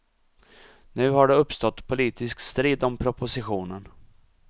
Nu har det uppstått politisk strid om propositionen.